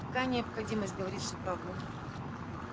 какая необходимость говорить всю правду